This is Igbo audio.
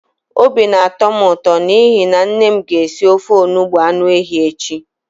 Obi na-atọ m ụto n'ihi na nne m ga-esi ofe onugbu anụ ehi echi.